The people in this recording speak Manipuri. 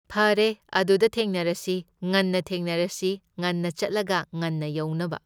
ꯐꯔꯦ ꯑꯗꯨꯗ ꯊꯦꯡꯅꯔꯁꯤ, ꯉꯟꯅ ꯊꯦꯡꯅꯔꯁꯤ, ꯉꯟꯅ ꯆꯠꯂꯒ ꯉꯟꯅ ꯌꯧꯅꯕ꯫